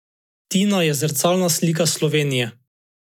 Tina je zrcalna slika Slovenije.